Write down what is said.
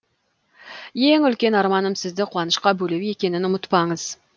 ең үлкен арманым сізді қуанышқа бөлеу екенін ұмытпаңыз